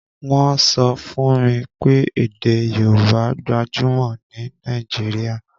Wọ́n sọ fún mi pé èdè Yorùbá gbajúmọ̀ ní Nàìjíríà